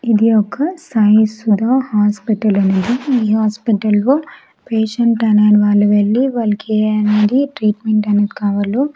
ఇది ఒక సాయిఈశ్వర హాస్పటల్ అనేది. ఈ హాస్పటల్ లో పేషంట్ అనే వాళ్ళు వెళ్లి వాళ్లకు ఏ అనేది ట్రీట్మెంట్ అనేది కావాలో --